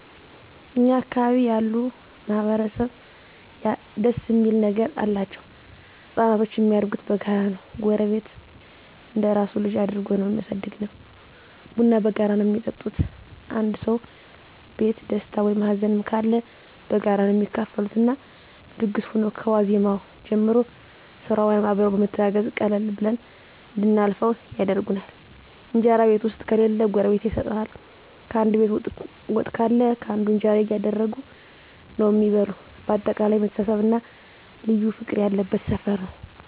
እኛ አካባቢ ያሉ ማህበረሰብ ደስ እሚል ነገር አላቸዉ። ህፃናቶች እሚያድጉት በጋራ ነዉ ጎረቤት እንደራሱ ልጅ አድርጎ ነዉ እሚያሳድገዉ፣ ቡና በጋራ ነዉ እሚጠጡት፣ አንዱ ሰዉ ቤት ደስታ ወይም ሀዘንም ካለ በጋራ ነዉ እሚካፈሉት እና ድግስ ሁኖ ከዋዜማዉ ጀምሮ ስራዉንም አብረዉ በመተጋገዝ ቀለል ብሎን እንድናልፈዉ ያደርጉናል። እንጀራ ቤት ዉስጥ ከሌለ ጎረቤት ይሰጡሀል፣ ካንዱ ቤት ወጥ ካለ ካንዱ እንጀራ እያደረጉ ነዉ እሚበሉ በአጠቃላይ መተሳሰብ እና ልዩ ፍቅር ያለበት ሰፈር ነዉ።